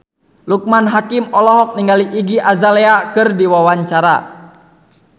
Loekman Hakim olohok ningali Iggy Azalea keur diwawancara